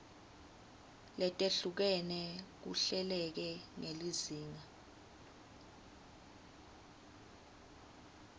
letehlukene kuhleleke ngelizinga